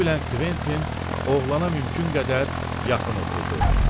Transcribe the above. Bunu bilən Kventin oğlana mümkün qədər yaxın oturdu.